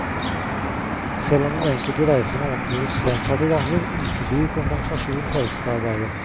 Selv om den enkelte reise må omgjøres gjentatte ganger, uteblir kompensasjon for ekstraarbeidet.